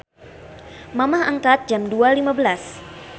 Mamah angkat Jam 02.15